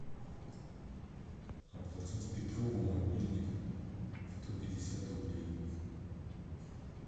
оплатить петрову мобильник сто пятьдесят рублей